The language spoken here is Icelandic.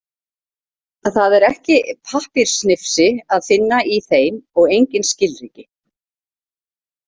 Það er ekki pappírssnifsi að finna í þeim og engin skilríki.